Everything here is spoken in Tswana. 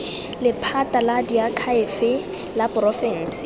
lephata la diakhaefe la porofense